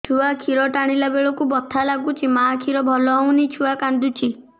ଛୁଆ ଖିର ଟାଣିଲା ବେଳକୁ ବଥା ଲାଗୁଚି ମା ଖିର ଭଲ ହଉନି ଛୁଆ କାନ୍ଦୁଚି